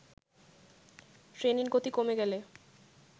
ট্রেনের গতি কমে গেলে